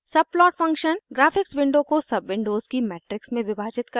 subplot function graphics window को subwindows की matrix में विभाजित करता है